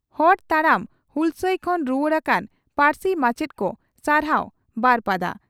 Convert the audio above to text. ᱦᱚᱨ ᱛᱟᱲᱟᱢ ᱦᱩᱞᱥᱟᱹᱭ ᱠᱷᱚᱱ ᱨᱩᱣᱟᱹᱲ ᱟᱠᱟᱱ ᱯᱟᱹᱨᱥᱤ ᱢᱟᱪᱮᱛ ᱠᱚ ᱥᱟᱨᱦᱟᱣ ᱵᱟᱹᱨᱯᱟᱫᱟ